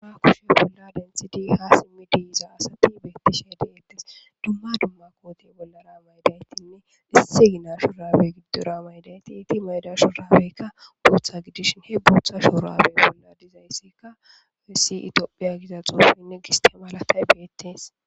Aa kushe bolla dentidi ha simi diiza asati beettishe deettes dumma dumma koote bollara maydaytinne issi gina shu rabe giddora maydayti iti mayda shurabeykka bootha gidishn he bootha shurabey bolla dizayssikka wessi itiophiya giza xoofinne giste malatay beettees.